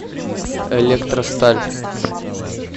электросталь